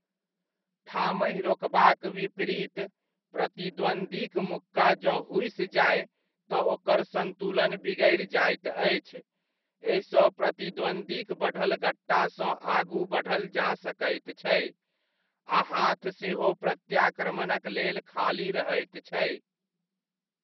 ठामहि रोकबाक विपरीत, प्रतिद्वंद्वीक मुक्का जँ हुसि जाय तऽ ओकर संतुलन बिगड़ि जाइत अछि, एहिसँ प्रतिद्वंद्वीक बढ़ल गट्टासँ आगू बढ़ल जा सकैत छै आ हाथ सेहो प्रत्याक्रमणक लेल खाली रहैत छै।